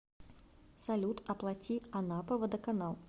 салют оплати анапа водоканал